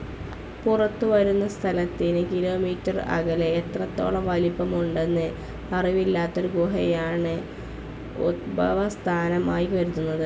പുറത്തുവരുന്ന സ്ഥലത്തിന് കിലോമീറ്ററുകൾ അകലെ എത്രത്തോളം വലുപ്പമുണ്ടെന്ന് അറിവില്ലാത്തൊരു ഗുഹയാണ് ഉത്ഭവസ്ഥാനം ആയി കരുതുന്നത്.